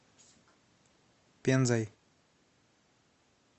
пензой